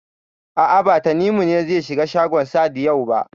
A'a, ba Tanimu ne zai shiga shagon Sahad yau ba.